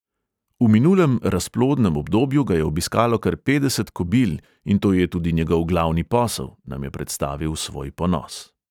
V minulem razplodnem obdobju ga je obiskalo kar petdeset kobil in to je tudi njegov glavni posel, nam je predstavil svoj ponos.